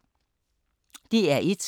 DR1